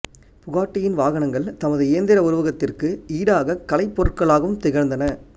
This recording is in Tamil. புகாட்டியின் வாகனங்கள் தமது இயந்திர உருவகத்திற்கு ஈடாகக் கலைப் பொருட்களாகவும் திகழ்ந்தன